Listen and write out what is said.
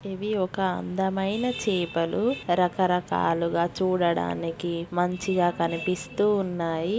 ఇవి ఒక అందమైన చేపలు రకరకాలుగా చూడడానికి మంచిగా కనిపిస్తూ ఉన్నాయి .